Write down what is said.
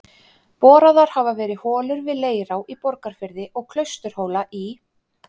Boraðar hafa verið holur við Leirá í Borgarfirði og Klausturhóla í